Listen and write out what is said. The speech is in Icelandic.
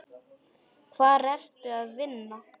Hvar ertu að vinna?